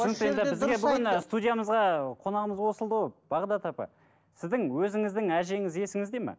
түсінікті енді бізге бүгін ы студиямызға қонағымыз қосылды ғой бағдат апай сіздің өзіңіздің әжеңіз есіңізде ме